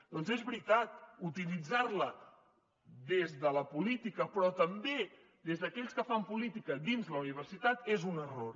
doncs és veritat utilitzar la des de la política però també des d’aquells que fan política dins la universitat és un error